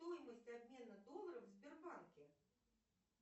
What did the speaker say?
стоимость обмена долларов в сбербанке